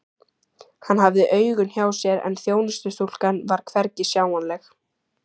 Hann hafði augun hjá sér en þjónustustúlkan var hvergi sjáanleg.